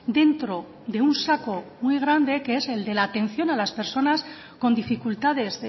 dentro de un saco muy grande que es el de la atención a las personas con dificultades